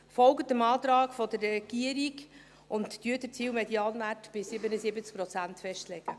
Folgen Sie dem Antrag der Regierung und legen Sie den Zielmedianwert bei 77 Prozent fest.